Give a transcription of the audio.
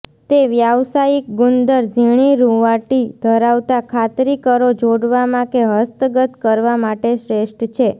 તે વ્યાવસાયિક ગુંદર ઝીણી રુંવાટી ધરાવતા ખાતરી કરો જોડવામાં કે હસ્તગત કરવા માટે શ્રેષ્ઠ છે